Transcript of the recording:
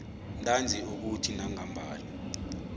ntanzi ukuthi nangambala